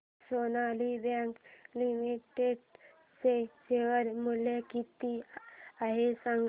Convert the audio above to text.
आज Sonali bank limited चे share मूल्य किती आहे सांगा